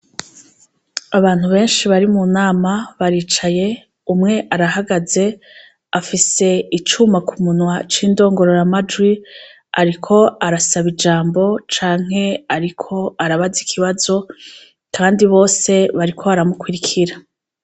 Abantu benshi bari mu nama baricaye, umwe arahagaze, afise icuma ku munwa c'indongororamajwi, ariko arasaba ijambo canke ariko arabaza ikibazo kandi bose bariko barakurikira.